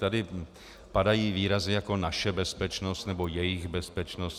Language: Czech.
Tady padají výrazy jako naše bezpečnost nebo jejich bezpečnost.